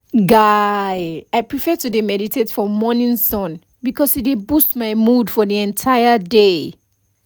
guy i prefer to dey meditate for morning sun because e dey boost my mood for the entire day